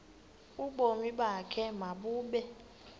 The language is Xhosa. ubomi bakho mabube